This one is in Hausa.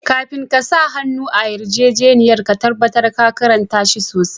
Kafin ka sa hannu a yarjejeniya ka tabatar ka karnta shi sosai.